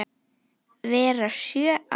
vera sjö ár!